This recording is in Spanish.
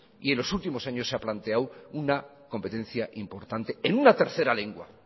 y en los últimos años se ha planteado una competencia importante en una tercera lengua